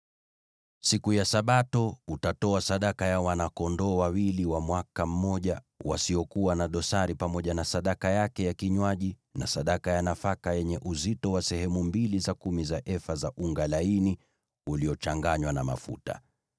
“ ‘Siku ya Sabato, utatoa sadaka ya wana-kondoo wawili wa mwaka mmoja wasiokuwa na dosari pamoja na sadaka yake ya kinywaji na sadaka ya nafaka yenye uzito wa sehemu mbili za kumi za efa za unga laini uliochanganywa na mafuta.